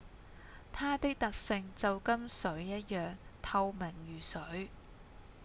「它的特性就跟水一樣透明如水